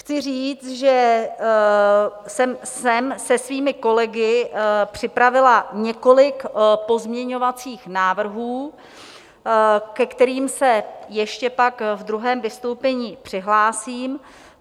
Chci říct, že jsem se svými kolegy připravila několik pozměňovacích návrhů, ke kterým se ještě pak ve druhém vystoupení přihlásím.